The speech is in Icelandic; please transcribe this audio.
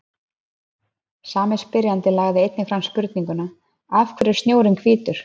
Sami spyrjandi lagði einnig fram spurninguna Af hverju er snjórinn hvítur?